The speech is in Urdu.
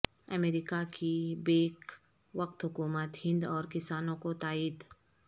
امریکہ کی بیک وقت حکومت ہند اور کسانوں کو تائید